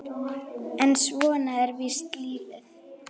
En svona er víst lífið.